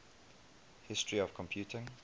history of computing